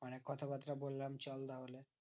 অনিক কথাবাত্রা বলাম চল তাহলে